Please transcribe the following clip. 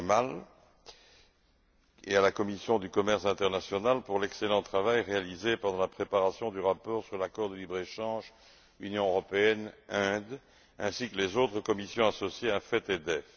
Kamal et à la commission du commerce international pour l'excellent travail réalisé pendant la préparation du rapport sur l'accord de libre échange Union européenne Inde ainsi que les autres commissions associées AFET et DEVE.